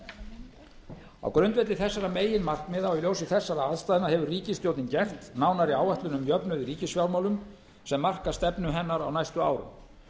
aðgerðir á grundvelli þessara meginmarkmiða og í ljósi þessara ástæðna hefur ríkisstjórnin gert nánari áætlun um jöfnuð í ríkisfjármálum sem marka stefnu hennar á næstu